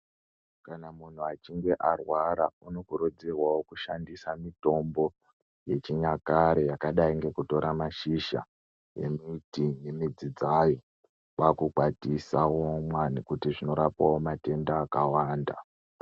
Kana muntu achinge arwara unokurudzirwavo kushandisa mitombo yechinyakare yakadai ngekutora mashizha embiti nemidzi dzayo. Kwakukwatisa oumwa nekuti zvinorapavo matenda akawanda.